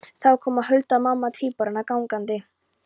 Þá kom Hulda mamma tvíburanna gangandi.